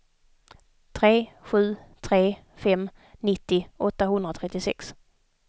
tre sju tre fem nittio åttahundratrettiosex